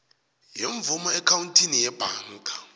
yemvumo eakhawuntini yebhanka